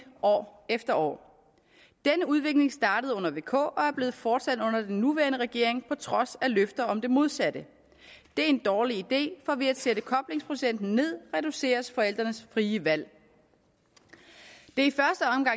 år efter år denne udvikling startede under vk og er blevet fortsat under den nuværende regering på trods af løfter om det modsatte det er en dårlig idé for ved at sætte koblingsprocenten ned reduceres forældrenes frie valg det